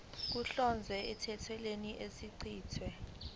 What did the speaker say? kuhlongozwe emthethweni osuchithiwe